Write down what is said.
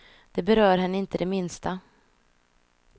Det berör henne inte det minsta.